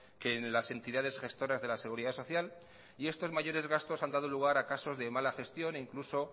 que en las entidades gestoras de la seguridad social y estos mayores gastos han dado lugar a casos de mala gestión e incluso